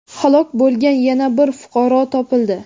halok bo‘lgan yana bir fuqaro topildi.